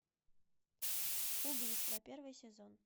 убийство первый сезон